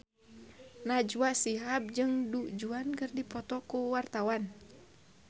Najwa Shihab jeung Du Juan keur dipoto ku wartawan